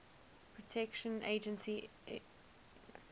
protection agency epa